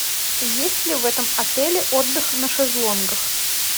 есть ли в этом отеле отдых на шезлонгах